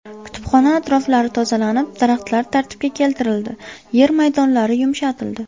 Kutubxona atroflari tozalanib, daraxtlar tartibga keltirildi, yer maydonlari yumshatildi.